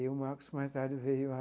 E o Marcos, mais tarde, veio a...